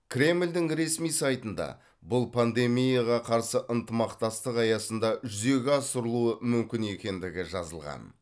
кремльдің ресми сайтында бұл пандемияға қарсы ынтымақтастық аясында жүзеге асырлуы мүмкін екендігі жазылған